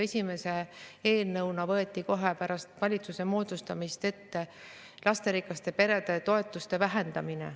Esimese eelnõuna võeti kohe pärast valitsuse moodustamist ette lasterikaste perede toetuste vähendamine.